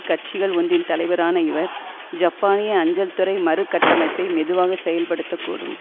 கட்சிகள் ஒன்றின் தலைவரான இவர் ஜப்பானிய அஞ்சல்துறை மறுகட்டமைப்பை மெதுவாகச் செயல்படுத்தக் கூடும்